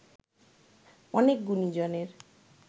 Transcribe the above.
অনেক গুণীজনের